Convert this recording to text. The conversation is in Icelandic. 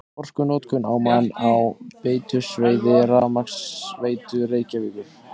Orkunotkun á mann á veitusvæði Rafmagnsveitu Reykjavíkur